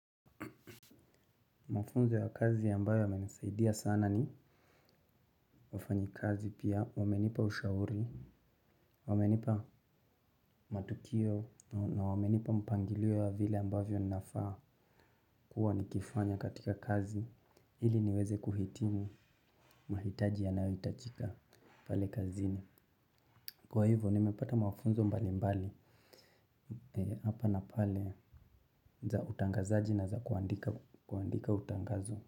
Mafunzo ya kazi ambayo yananisaidia sana ni wafanyikazi pia wamenipa ushauri, wamenipa matukio na wamenipa mpangilio ya vile ambavyo nafaa kuwa nikifanya katika kazi ili niweze kuhitimu mahitaji yanayohitajika pale kazini. Kwa hivyo nimepata mafunzo mbali mbali hapa na pale za utangazaji na za kuandika utangazo.